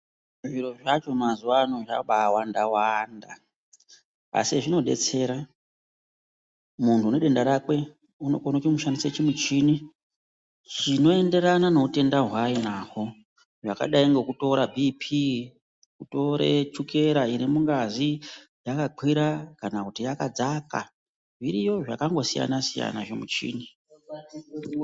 Zviro zvacho mazuwa ano zvabawanda wanda asi zvinodetsera muntu une denda rake unokona kushandise chimichini chinoenderana neutenda hwaainahwo zvakadai ngekutora BP kutore chukera iri mungazi yakakwira kana kuti yakadza zviriyo zvakangosiyana siyana zvimuchini.